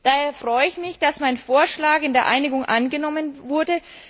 Daher freue ich mich, dass mein Vorschlag in der Einigung angenommen wurde.